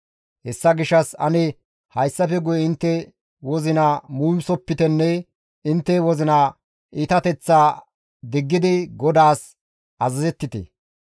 Hessa gishshas ane hayssafe guye intte wozina muumisopitenne intte wozina iitateththaa diggidi GODAAS azazettite.